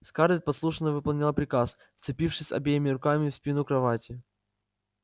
скарлетт послушно выполнила приказ вцепившись обеими руками в спину кровати